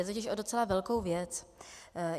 Jde totiž o docela velkou věc.